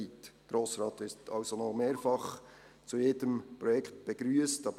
Der Grosse Rat wird also noch mehrfach zu jedem Projekt begrüsst werden.